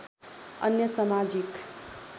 अन्य समाजिक